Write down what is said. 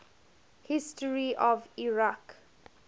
history of iraq